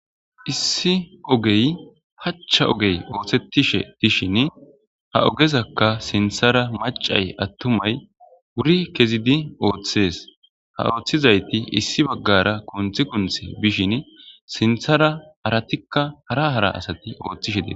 issi ogey pachcha ogey ooththettishe tishin ha ogezakka sinthara macay attumay wuri kezidi ooththees ha ooththizayti issi baggara kunthi kunthe bishin sinthara haratikka hara hara asati ooththishe dee